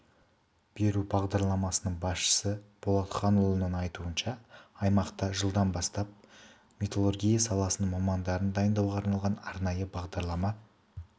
беру басқармасының басшысы болатханұлының айтуынша аймақта жылдан бастап металлургия саласының мамандарын дайындауға арналған арнайы бағдарлама